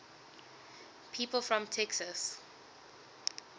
people from texas